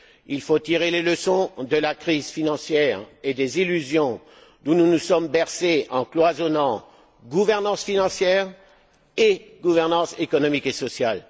Il faut tirer les leçons de la crise financière et des illusions dont nous nous sommes bercés en cloisonnant gouvernance financière et gouvernance économique et sociale.